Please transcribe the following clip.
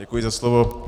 Děkuji za slovo.